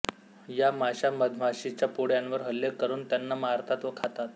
या माशा मधमाशीच्या पोळ्यांवर हल्ले करून त्यांना मारतात व खातात